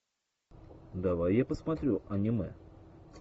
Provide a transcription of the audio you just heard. давай я посмотрю аниме